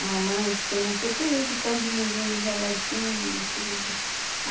A mamãe diz que nasceu tudo com as mãozinhas enroladinhas e tudo.